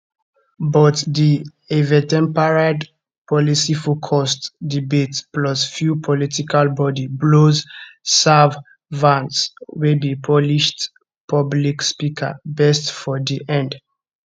but di eventempered policyfocused debate plus few political body blows serve vance wey be polished public speaker best for di end